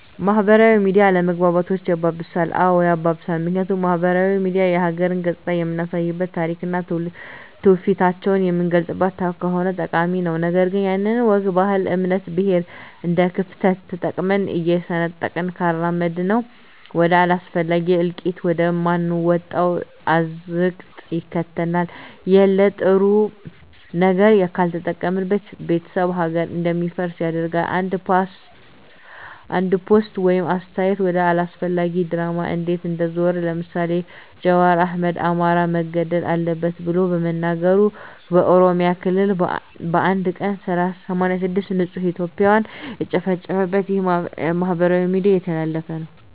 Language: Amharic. ማህበራዊ ሚዲያ አለመግባባቶችን ያባብሳል? አዎ ያባብሳል ምክንያቱም ማህበራዊ ሚዲያ የሀገርን ገፅታ የምናሳይበት ታሪክና ትውፊቷን የምናጎላበት ከሆነ ጠቃሚ ነው ነገር ግን ያለንን ወግ ባህል እምነት ብሔር እንደክፍተት ተጠቅመን እየሰነጠቅን ካራመድነው ወደ አላስፈላጊ እልቂት ወደ ማንወጣው አዘቅት ይከተናል የለጥሩ ነገር ካልተጠቀምንበት ቤተሰብ ሀገር እንዲፈርስ ያደርጋል አንድ ፖስት ወይም አስተያየት ወደ አላስፈላጊ ድራማ እንዴት እንደዞረ ለምሳሌ ጃዋር አህመድ አማራ መገደል አለበት ብሎ በመናገሩ በኦሮሚያ ክልል በአንድ ቀን 86 ንፁህ እትዮጵያን የተጨፈጨፉበት ይህ በማህበራዊ ሚዲያ የተላለፈ ነው